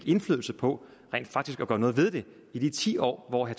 indflydelse på rent faktisk at gøre noget ved det i de ti år hvor